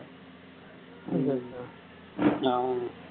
ஆமாமா